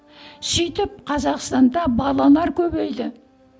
сөйтіп қазақстанда балалар көбейді